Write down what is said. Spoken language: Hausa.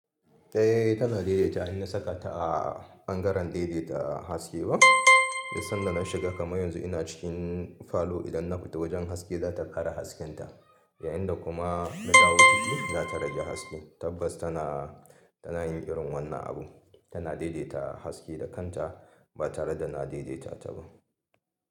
Eh tana daidaita in na saka ta a bangaren daidaita haske ba. Duk sanda na shiga kamar yanzu ina cikin falo idan na fita wajen haske za ta kara hasken ta. Ya inda kuma na dawo ciki za ta rage haske. Tabbas tana, tana yin irin wannan abu. Tana daidaita haske da kanta ba tare da na daidaita ta ba.